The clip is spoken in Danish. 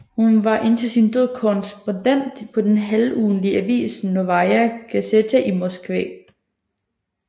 Hun var indtil sin død korrespondent på den halvugentlige avis Novaja Gazeta i Moskva